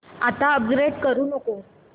आता अपग्रेड करू नको